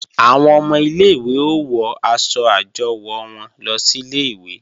Àwọn ọmọ ilé-ìwé ó wọ aṣọ àjọwò wọn lọ sílé ìwé